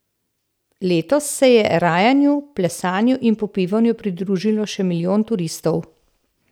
Letos se je rajanju, plesanju in popivanju pridružilo še milijon turistov.